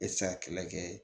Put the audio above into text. E tɛ se ka kɛlɛ kɛ